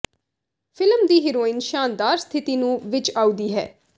film ਦੀ heroine ਸ਼ਾਨਦਾਰ ਸਥਿਤੀ ਨੂੰ ਵਿੱਚ ਆਉਦੀ ਹੈ